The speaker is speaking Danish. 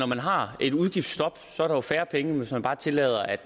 man har et udgiftstop er der færre penge end hvis man bare tillader at